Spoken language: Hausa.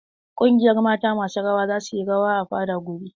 Ƙungiyar mata masu rawa za su yi rawa a fada gobe.